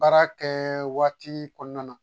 Baara kɛ waati kɔnɔna na